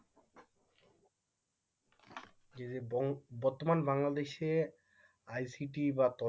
ববর্তমান বাংলাদেশে বা ICT